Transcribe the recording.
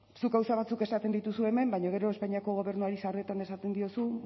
zuk gauza batzuk esaten dituzu hemen baina gero espainiako gobernuari sarritan esaten didazu